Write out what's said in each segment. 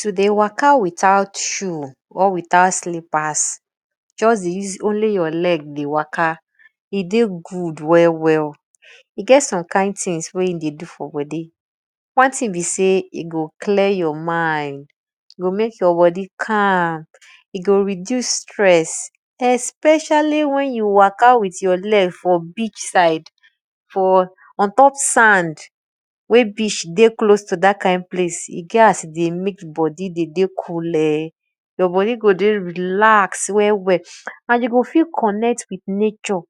To dey waka without sho or without slippers just dey use only your leg dey waka, dey good wel well, e get some kind thngs wey e dey do for bodi, wan thing be sey e go clear your mind, go mek yur bodi calm, e go reduce stress especially wen you waka with your leg for beech side ontop sand wen beech dey close to dat kind place e get as e dey mek bodi dey dey cool, you bodi go dey relax well and you go fit connect with nature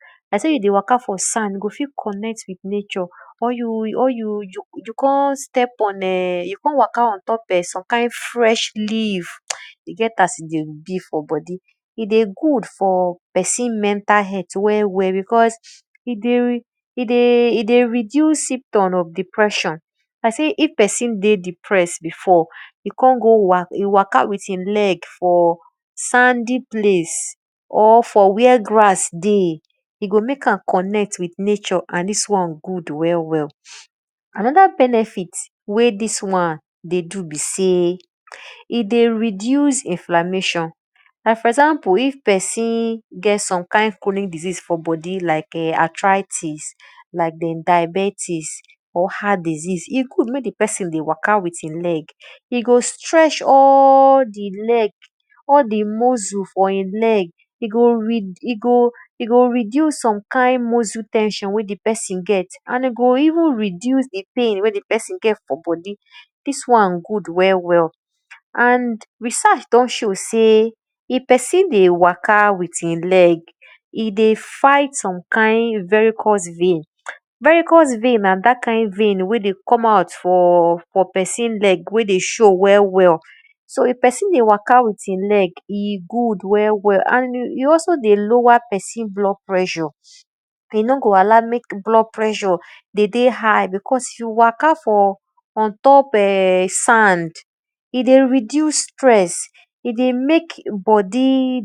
or you kon step on you kon waka ontop wan kind fresh leave e get as e dey be for bodi, e dey good for pesin mental health e dey reduce symptom of depression like sey if pesin dey depress before e waka witgh e legfor sandy place, or for where grass dey, e go mek am connect with nature and dis wan good well well. Anoda benefit wey dis wan dey do be sey e dey reduce inflammation and for exam ,ple if pesin get some kind chronic disease for bodi like diabetics or heart disease, e good mek di pesin dey waka with e leg e go strength all di muscle for e leg, e go reduce some kind muscle ten sion wey di pesin get for bodi, dis wan good well well and research don show sey if pesin dey waka with e leg, e dey fight some kind vercuz vein. And na dat kind vein wey dey come out for pesin legwey dey show well well. So if pesin dey waka with e leg, e good well well and e also dey lower blood pressure and e nor go allow mek blood pressure because you waka for on top sand, e dey reduce stress, e dey mek bodi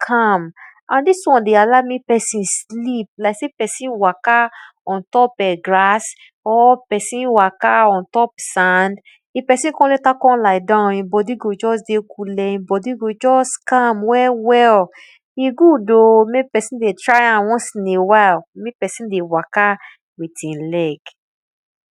calm, and dis won dey allow mek pesin sleep like sey persin waka ontop grass or psin waka on top sand, if pesin kon latr lie down, e bodi go dey cool[um], e bodi go dey coole e bodi go just calm well well. E good o mek pesin dey try am once in a while mek pesin dey waka with e leg.